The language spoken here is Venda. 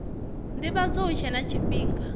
ndivhadzo hu tshe na tshifhinga